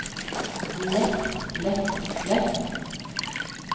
lett lett lett